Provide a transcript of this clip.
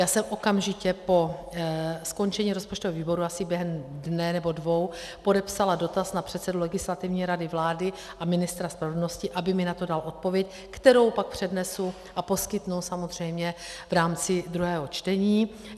Já jsem okamžitě po skončení rozpočtového výboru asi během dne nebo dvou podepsala dotaz na předsedu Legislativní rady vlády a ministra spravedlnosti, aby mi na to dal odpověď, kterou pak přednesu a poskytnu samozřejmě v rámci druhého čtení.